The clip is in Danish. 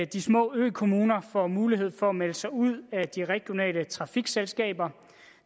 de små økommuner får mulighed for at melde sig ud af de regionale trafikselskaber